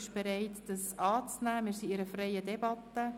Wir befinden uns in einer freien Debatte.